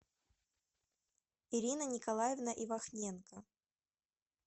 ирина николаевна ивахненко